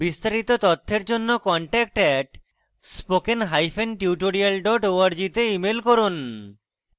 বিস্তারিত তথ্যের জন্য contact @spokentutorial org তে ইমেল করুন